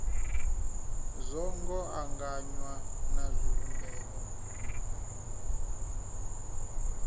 zwo ngo anganywa na zwivhumbeo